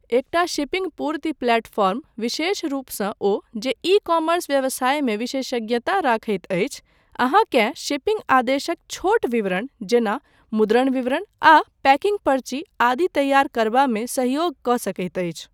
एकटा शिपिंग पूर्ति प्लेटफॉर्म, विशेषरूपसँ ओ जे ई कॉमर्स व्यवसायमे विशेषज्ञता रखैत अछि, अहाँकेँ शिपिंग आदेशक छोट विवरण, जेना मुद्रण विवरण आ पैकिंग पर्ची आदि तैयार करबामे सहयोग कऽ सकैत अछि।